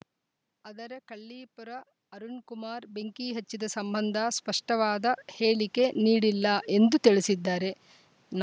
ಆದರೆ ಕಳ್ಳೀಪುರ ಅರುಣ್‌ ಕುಮಾರ್‌ ಬೆಂಕಿ ಹಚ್ಚಿದ ಸಂಬಂಧ ಸ್ಪಷ್ಟವಾದ ಹೇಳಿಕೆ ನೀಡಿಲ್ಲ ಎಂದು ತಿಳಿಸಿದ್ದಾರೆ ನ